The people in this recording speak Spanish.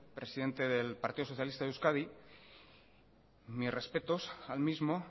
presidente del partido socialista de euskadi mis respetos al mismo